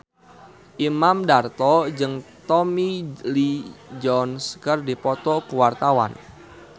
Imam Darto jeung Tommy Lee Jones keur dipoto ku wartawan